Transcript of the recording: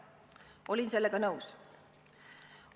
Olin sellega nõus.